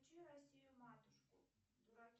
включи россию матушку